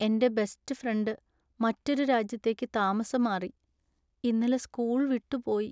എന്‍റെ best friend മറ്റൊരു രാജ്യത്തേക്ക് താമസം മാറി, ഇന്നലെ സ്കൂൾ വിട്ടുപോയി .